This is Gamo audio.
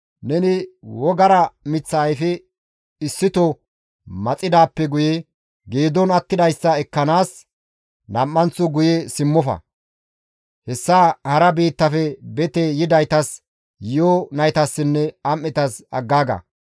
Neni wogara miththa ayfe issito maxidaappe guye geedon attidayssa ekkanaas nam7anththo guye simmofa. Hessa hara biittafe bete yidaytas, yi7o naytassinne am7etas aggaaga.